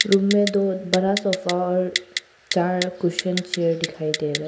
Room में दो बड़ा सोफा और चार कुसन चेयर दिखाई दे रहा है।